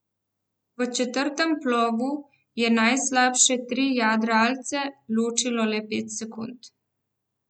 V četrtem plovu je najboljše tri jadralce ločilo le pet sekund.